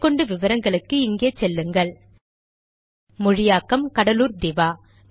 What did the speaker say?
மேற்கொண்டு விவரங்களுக்கு இங்கே செல்லுங்கள் மொழியாக்கம் கடலூர் திவா